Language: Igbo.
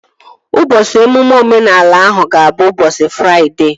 Ụbọchị emume omenala ahụ ga-abụ ụbọchị Fraịdee